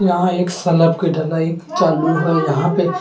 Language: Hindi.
यहाँ एक सलब के ढलाई चालू हैं यहाँ पे सलाब के।